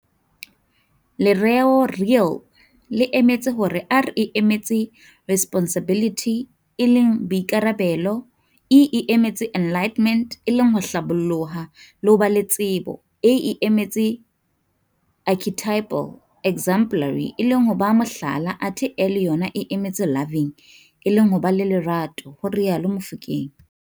Lereo "Real" le emetse hore R e emetse Responsibility e leng Boikarabelo, E e emetse Enlightenment e leng ho Hlaboloha le ho ba le tsebo, A e emetse Archetypal, exemplary, e leng ho ba Mohlala, athe L yona e emetse Loving e leng ho ba le Lerato, ho rialo Mofokeng.